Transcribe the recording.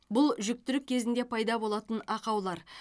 бұл жүктілік кезінде пайда болатын ақаулар